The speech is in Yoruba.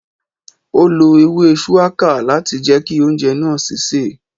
Ó lo ewé shuwaka láti jẹ ki oúnjẹ náà sise